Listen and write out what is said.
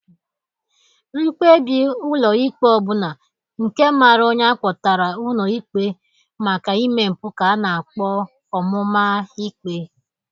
Mkpebi ụlọ ikpe ọbụla nke mara onye akpọtara ụlọ ikpe maka ime mpụ ka a na-akpọ ọmụmaikpe.